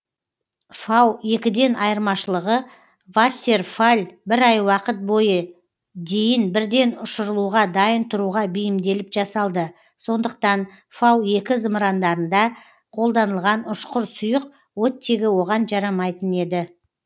фау екіден айырмашылығы вассерфалль бір ай уақыт бойы дейін бірден ұшырылуға дайын тұруға бейімделіп жасалды сондықтан фау екі зымырандарында қолданылған ұшқыр сұйық оттегі оған жарамайтын еді